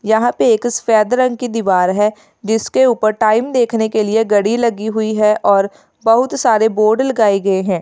यहां पे एक सफेद रंग की दीवार है जिसके ऊपर टाइम देखने के लिए घड़ी लगी हुई है और बहुत सारे बोर्ड लगाए हुए हैं।